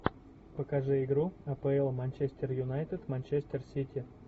покажи игру апл манчестер юнайтед манчестер сити